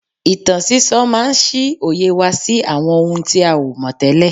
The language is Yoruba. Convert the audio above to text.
Ìtàn sísọ máa ń ṣí òye wa sí àwọn ohun tí a ò mọ̀ tẹ́lẹ̀